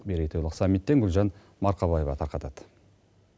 мейрейтойлық саммиттен гүлжан марқабаева тарқатады